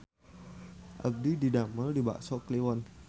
Abdi didamel di Bakso Kliwon